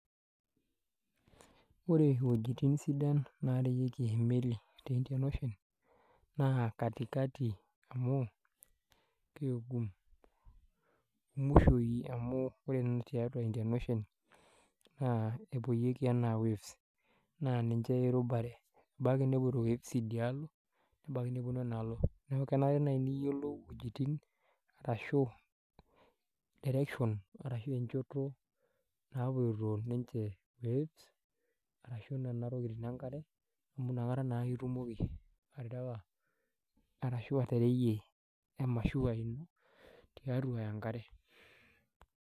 Wore iwejitin sidan naareweki emeli tee Indian ocean, naa kati kati amu keegum. Muishioi amu wore tiatua Indian ocean, kepoyieki enaa waves. Naa ninche irubare, ebaiki nepoito waves idialo, ebaiki neponu enaalo. Neeku kenare niyiolou iwejitin arashu directions arashu enchoto naapotio ninche waves, ashu niana tokitin enkare, inakata naake itumoki aterewa arashu atereyie emashiwa tiatua enkare.